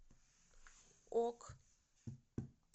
ок